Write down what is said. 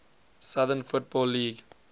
southern football league